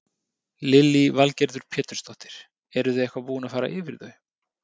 Lillý Valgerður Pétursdóttir: Eruð þið eitthvað búin að fara yfir þau?